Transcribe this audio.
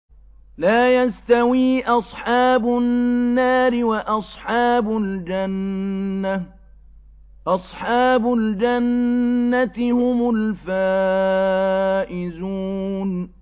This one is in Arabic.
لَا يَسْتَوِي أَصْحَابُ النَّارِ وَأَصْحَابُ الْجَنَّةِ ۚ أَصْحَابُ الْجَنَّةِ هُمُ الْفَائِزُونَ